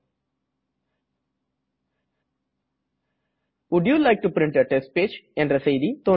volt you like to print a test page